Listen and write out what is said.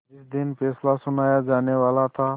जिस दिन फैसला सुनाया जानेवाला था